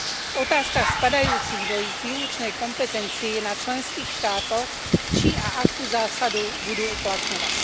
V otázkach spadajúcich do ich výlučnej kompetencie je na členských štátoch, či a akú zásadu budú uplatňovať.